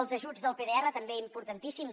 els ajuts del pdr també importantíssims